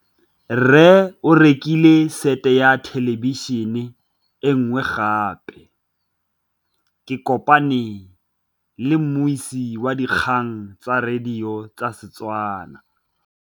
Rre o rekile sete ya thêlêbišênê e nngwe gape. Ke kopane mmuisi w dikgang tsa radio tsa Setswana.